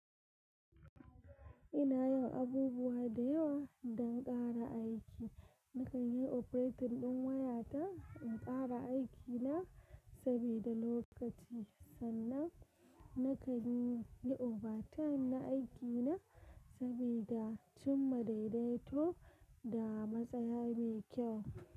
Ina yawan abubuwa da yawa don ƙara aiki. Nakan yi operator ɗin waya ta in ƙara aikina sabida lokaci sannan nakan yi overtime na aikina sabida cimma daidaito da matsaya mai kyau.